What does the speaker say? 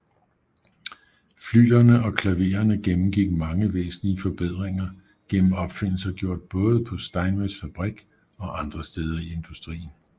Flyglerne og klavererne gennemgik mange væsentlige forbedringer gennem opfindelser gjort både på Steinways fabrik og andre steder i industrien